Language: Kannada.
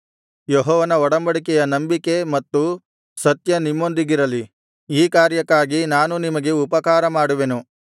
ಯೆಹೋವನ ಒಡಂಬಡಿಕೆಯ ನಂಬಿಕೆ ಮತ್ತು ಸತ್ಯ ನಿಮ್ಮೊಂದಿಗಿರಲಿ ಈ ಕಾರ್ಯಕ್ಕಾಗಿ ನಾನೂ ನಿಮಗೆ ಉಪಕಾರ ಮಾಡುವೆನು